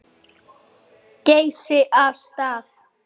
Geysi af stað.